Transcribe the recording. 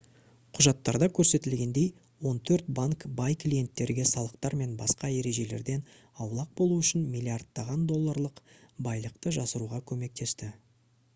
құжаттарда көрсетілгендей он төрт банк бай клиенттерге салықтар мен басқа ережелерден аулақ болу үшін миллиардтаған долларлық байлықты жасыруға көмектесті